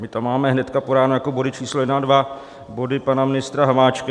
My tam máme hned po ráno jako body číslo 1 a 2 body pana ministra Hamáčka.